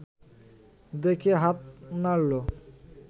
দেখে হাত নাড়ল